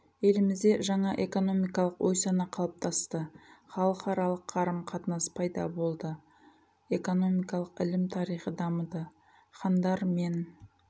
елімізде жаңа экономикалық ой-сана қалыптасты халықараылқ қарым қатынас пайда болды экономикалық ілім тарихы дамыды хандар мен